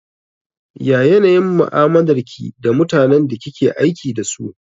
Ya yanayin mu'amalar ki da mutanen da kike aiki dasu?